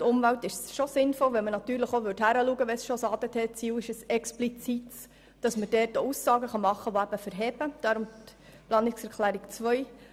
Betreffend Umwelt ist es sinnvoll, hinzuschauen und Aussagen zu machen, die standhalten, wenn es schon ein explizites ADT-Ziel gibt.